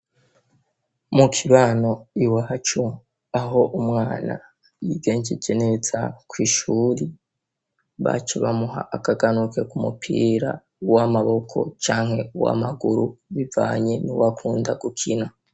Mukibano iwacu aho umwana yigenjeje neza kw'ishuri, iwacu bamuha akaganuke kumupira w'amaboko canke uwam'amaguru bivanye n'uwakunda gukina.